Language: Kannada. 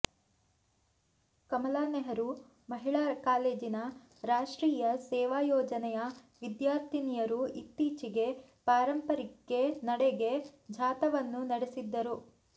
ಕಮಲಾ ನೆಹರು ಮಹಿಳಾ ಕಾಲೇಜಿನ ರಾಷ್ಟ್ರೀಯ ಸೇವಾ ಯೋಜನೆಯ ವಿದ್ಯಾರ್ಥಿನಿಯರು ಇತ್ತೀಚೆಗೆ ಪಾರಂಪರಿಕೆ ನಡೆಗೆ ಜಾಥಾವನ್ನು ನಡೆಸಿದ್ದರು